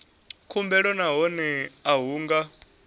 khumbelo nahone a hu nga